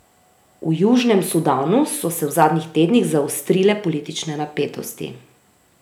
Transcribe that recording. V Južnem Sudanu so se v zadnjih tednih zaostrile politične napetosti.